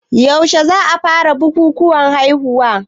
Yaushe za a fara bukukuwan haihuwa?